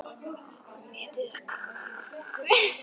Dómaldur, hversu margir dagar fram að næsta fríi?